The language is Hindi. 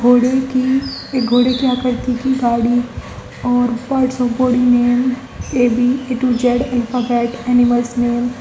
घोड़े की एक घोड़े की आकृति की गाड़ी और A B A to Z alphabet animals name.